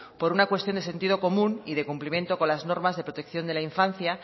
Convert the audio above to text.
por una cuestión de sentido común y de cumplimiento con las normas de protección de la infancia